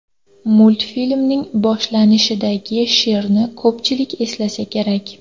Multfilmning boshlanishidagi sherni ko‘pchilik eslasa kerak.